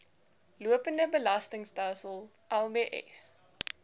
lopende betaalstelsel lbs